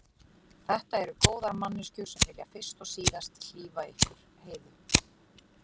Þetta eru góðar manneskjur sem vilja fyrst og síðast hlífa ykkur Heiðu.